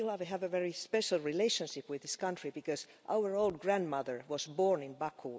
I feel that we have a very special relationship with this country because our own grandmother was born in Baku